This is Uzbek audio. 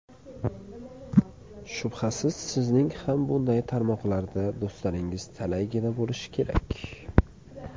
Shubhasiz, sizning ham bunday tarmoqlarda do‘stlaringiz talaygina bo‘lishi kerak.